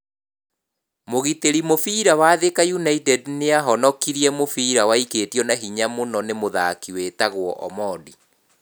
Mugitĩri mũbira wa Thika United niahonokirie mũbira waikĩtio na hinya mũno nĩ mũthaki wĩtagwo Omondi.